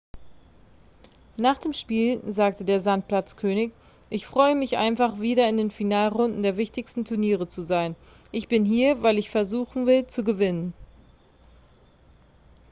nach dem spiel sagte der sandplatz-könig ich freue mich einfach wieder in den finalrunden der wichtigsten turniere zu sein ich bin hier weil ich versuchen will zu gewinnen